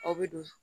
Aw bɛ don